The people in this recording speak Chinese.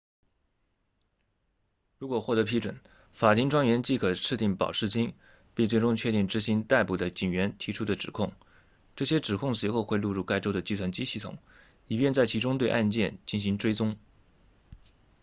如果获得批准法庭专员即可设定保释金并最终确定执行逮捕的警员提出的指控这些指控随后会录入该州的计算机系统以便在其中对案件进行追踪